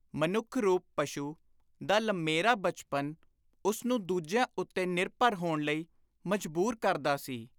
ਮਨੁੱਖ-ਰੂਪ ਪਸ਼ੂ ਦਾ ਲੰਮੇਰਾ ਬਚਪਨ ਉਸਨੂੰ ਦੂਜਿਆਂ ਉੱਤੇ ਨਿਰਭਰ ਹੋਣ ਲਈ ਮਜਬੂਰ ਕਰਦਾ ਸੀ।